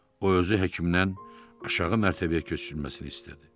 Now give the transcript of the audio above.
O özü həkimdən aşağı mərtəbəyə köçürülməsini istədi.